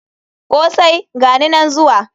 Kosai!gani nan zuwa.